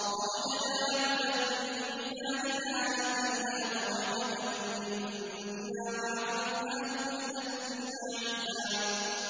فَوَجَدَا عَبْدًا مِّنْ عِبَادِنَا آتَيْنَاهُ رَحْمَةً مِّنْ عِندِنَا وَعَلَّمْنَاهُ مِن لَّدُنَّا عِلْمًا